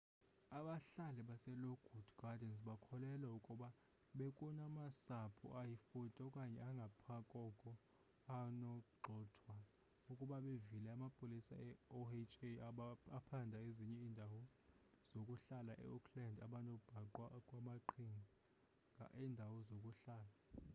abahlali baselockwood gardens bakholelwa ukuba bekunamasapho ayi-40 okanye angaphakoko anogxothwa ukuba bevile amapolisa e-oha aphanda ezinye iindawo zokuhlala e-oakland abanobhaqwa kwamaqhinga endawo zokuhlala